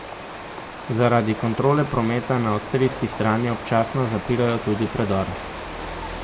Zaradi kontrole prometa na avstrijski strani občasno zapirajo tudi predor.